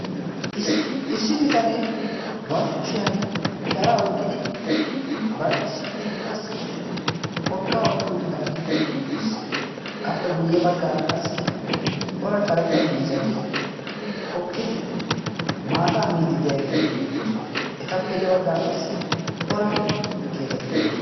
Issi bitanee barkkushiyan sharaa oykkidi bar issi kushiyan qassi porkkaa oikki uttidaagii eqqi uttiis appe guyye baggaara qassi cora karetta miizzati hokkidi maataa miidi de'iyaageeti beettoosona etappe ya baggaara qassi cora keettati de'oosona.